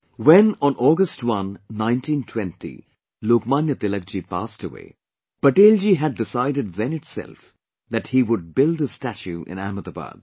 When on August 1 1920, Lok Manya Tilakji passed away, Patel ji had decided then itself that he would build his statue in Ahmedabad